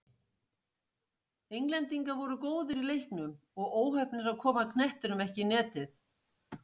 Englendingar voru góðir í leiknum og óheppnir að koma knettinum ekki í netið.